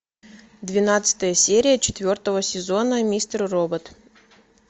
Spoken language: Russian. двенадцатая серия четвертого сезона мистер робот